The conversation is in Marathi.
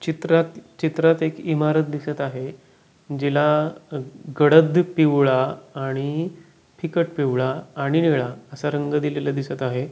चित्रात चित्रात एक इमारत दिसत आहे जिला गडद पिवळा आणि फिकट पिवळा आणि निळा आस रंग दिलेल दिसत आहे.